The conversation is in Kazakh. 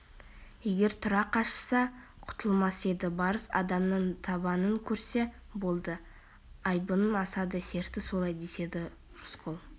егер тұра қашса құтылмас еді барыс адамның табанын көрсе болды айбыны асады серті солай деседі рысқұл